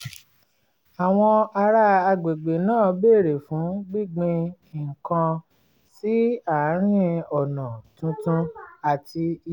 àwọn ará àgbègbè náà béèrè fún gbíngbin nǹkan sí àárín ọ̀nà tuntun àti